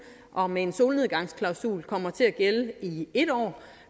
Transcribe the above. og med en solnedgangsklausul kommer til at gælde i en år